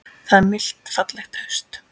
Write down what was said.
Það er milt fallegt haust.